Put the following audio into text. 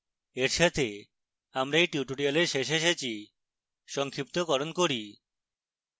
এর সাথে আমরা এই tutorial শেষে এসেছি